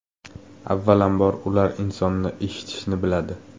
Avvalambor, ular insonni eshitishni biladi.